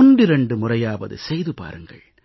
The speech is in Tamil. ஒன்றிரண்டு முறையாவது செய்து பாருங்கள்